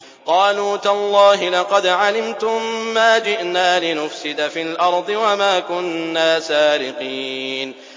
قَالُوا تَاللَّهِ لَقَدْ عَلِمْتُم مَّا جِئْنَا لِنُفْسِدَ فِي الْأَرْضِ وَمَا كُنَّا سَارِقِينَ